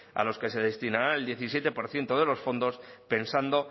a los que se destinará el diecisiete por ciento de los fondos pensando